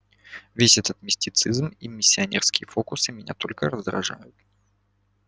весь этот мистицизм и миссионерские фокусы меня только раздражают